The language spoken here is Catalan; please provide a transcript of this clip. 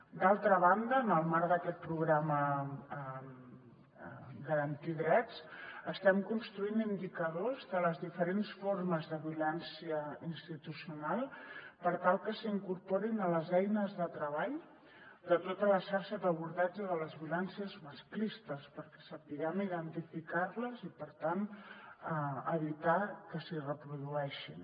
d’altra banda en el marc d’aquest programa garantir drets estem construint indicadors de les diferents formes de violència institucional per tal que s’incorporin a les eines de treball de tota la xarxa d’abordatge de les violències masclistes perquè sapiguem identificar les i per tant evitar que s’hi reprodueixin